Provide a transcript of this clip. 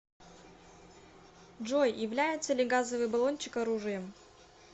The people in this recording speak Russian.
джой является ли газовый баллончик оружием